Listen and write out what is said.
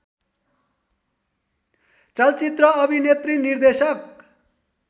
चलचित्र अभिनेत्री निर्देशक